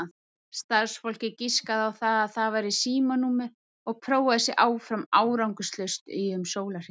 Starfsfólkið giskaði á að það væri símanúmer og prófaði sig áfram árangurslaust í um sólarhring.